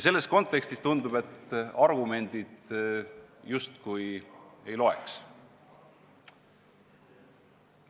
Selles kontekstis tundub, et argumendid justkui ei loe.